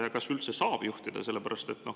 Ja kas üldse nad saaksid juhtida?